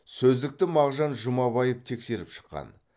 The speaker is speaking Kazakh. сөздікті мағжан жұмабаев тексеріп шыққан